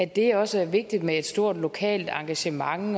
det også er vigtigt med et stort lokalt engagement og